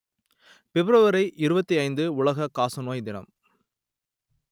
பிப்ரவரி இருபத்தி ஐந்து உலக காசநோய் தினம்